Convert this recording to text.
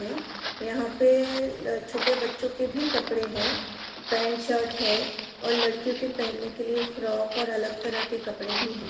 हैं यहां पर छोटे बच्चों के भी कपड़े है पेंट शर्ट है और लड़कियों के पहनने के लिए फ्रॉक और अलग तरह के कपड़े भी हैं |